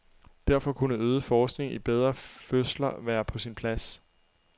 Derfor kunne øget forskning i bedre fødsler være på sin plads.